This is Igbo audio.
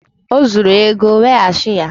O zuru ego, weghachi ya!